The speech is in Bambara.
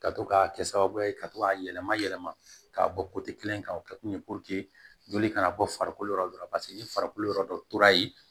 Ka to k'a kɛ sababu ye ka to k'a yɛlɛma yɛlɛma k'a bɔ kelen kan o kɛ kun ye joli kana bɔ farikolo yɔrɔ dɔ la paseke ni farikolo yɔrɔ dɔ tora yen